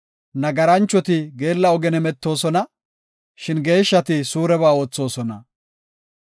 Nagaranchoti geella ogen hemetoosona; shin geeshshati suureba oothosona.